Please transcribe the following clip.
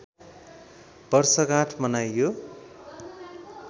वर्षगाँठ मनाइयो